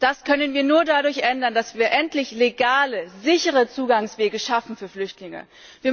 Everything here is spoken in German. Das können wir nur dadurch ändern, dass wir endlich legale, sichere Zugangswege für Flüchtlinge schaffen.